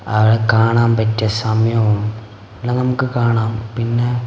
അവിടെ കാണാൻ പറ്റിയ സമയവും എല്ലാം നമുക്ക് കാണാം പിന്നെ--